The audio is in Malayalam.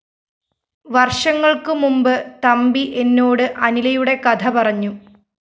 വര്‍ഷങ്ങള്‍ക്കുമുമ്പ് തമ്പി എന്നോട് അനിലയുടെ കഥ പറഞ്ഞു